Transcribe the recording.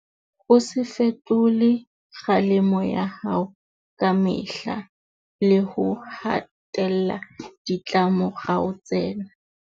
O se fetole kgalemo ya hao ka mehla le ho hatella ditlamo rao tsena.